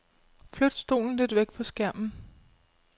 Flyt stolen lidt væk fra skærmen.